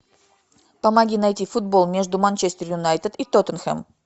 помоги найти футбол между манчестер юнайтед и тоттенхэм